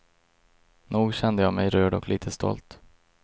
Nog kände jag mig rörd och lite stolt.